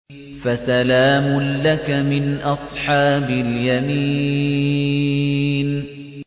فَسَلَامٌ لَّكَ مِنْ أَصْحَابِ الْيَمِينِ